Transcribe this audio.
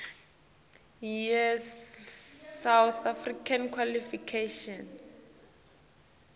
yesouth african qualifications